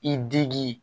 I digi